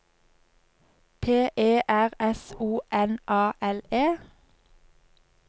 P E R S O N A L E